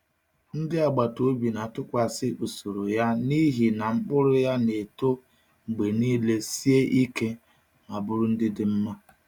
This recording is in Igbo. Ndị agbata obi na-atụkwasị usoro ya n’ihi na mkpụrụ ya na-eto mgbe niile sie ike ma bụrụ ndị dị mma.